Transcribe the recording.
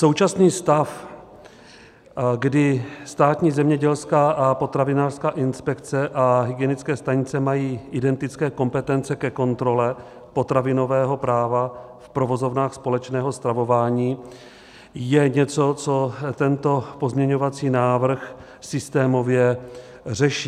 Současný stav, kdy Státní zemědělská a potravinářská inspekce a hygienické stanice mají identické kompetence ke kontrole potravinového práva v provozovnách společného stravování, je něco, co tento pozměňovací návrh systémově řeší.